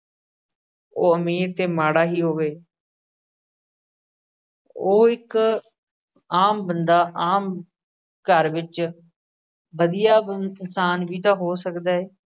ਉਹ ਅਮੀਰ ਤੇ ਮਾੜਾ ਹੀ ਹੋਵੇ ਉਹ ਇੱਕ ਆਮ ਬੰਦਾ ਆਮ ਘਰ ਵਿੱਚ ਵਧੀਆ ਅਮ ਇਨਸਾਨ ਵੀ ਤਾਂ ਹੋ ਸਕਦਾ ਏ।